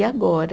E agora?